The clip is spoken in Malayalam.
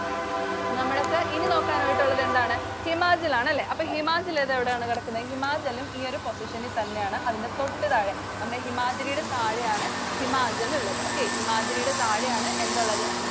നമ്മക്ക് ഇനി നോക്കാന്‍ ആയിട്ടുള്ളത് എന്താണ്? ഹിമാചല്‍ ആണ് അല്ലേ? അപ്പൊ ഹിമാചല്‍ അത് എവിടാണ് കിടക്കുന്നെ. ഹിമാചലും ഈ ഒരു position ഇല്‍ തന്നെയാണ്. അതിന്‍റെ തൊട്ടുതാഴെ നമ്മുടെ ഹിമാദ്രിയുടെ താഴെ ആണ് ഹിമാചലുള്ളത്. Okay, ഹിമാദ്രിയുടെ താഴെ ആണ് എന്തൊള്ളത്?